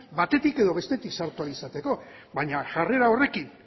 batetik edo bestetik sartu ahal izateko baina jarrera horrekin